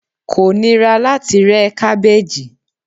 ko nira lati re e kabeji